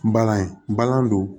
Bagan ye bagan don